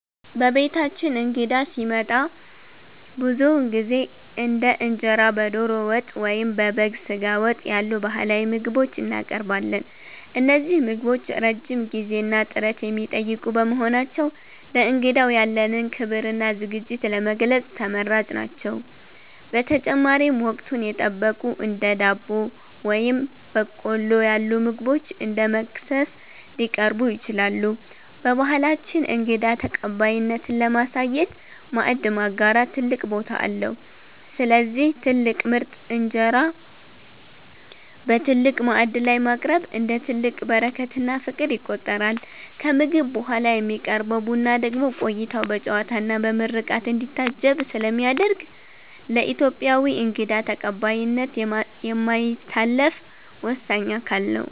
በቤታችን እንግዳ ሲመጣ ብዙውን ጊዜ እንደ እንጀራ በዶሮ ወጥ ወይም በበግ ስጋ ወጥ ያሉ ባህላዊ ምግቦችን እናቀርባለን። እነዚህ ምግቦች ረጅም ጊዜና ጥረት የሚጠይቁ በመሆናቸው፣ ለእንግዳው ያለንን ክብርና ዝግጅት ለመግለጽ ተመራጭ ናቸው። በተጨማሪም፣ ወቅቱን የጠበቁ እንደ ዳቦ ወይም በቆሎ ያሉ ምግቦች እንደ መክሰስ ሊቀርቡ ይችላሉ። በባህላችን እንግዳ ተቀባይነትን ለማሳየት "ማዕድ ማጋራት" ትልቅ ቦታ አለው፤ ስለዚህ ትልቅ ምርጥ እንጀራ በትልቅ ማዕድ ላይ ማቅረብ፣ እንደ ትልቅ በረከትና ፍቅር ይቆጠራል። ከምግብ በኋላ የሚቀርበው ቡና ደግሞ ቆይታው በጨዋታና በምርቃት እንዲታጀብ ስለሚያደርግ፣ ለኢትዮጵያዊ እንግዳ ተቀባይነት የማይታለፍ ወሳኝ አካል ነው።